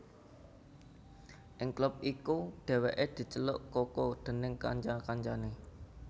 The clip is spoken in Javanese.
Ing klub iku Dèwèké diceluk Coco déning kanca kancané